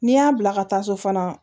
N'i y'a bila ka taa so fana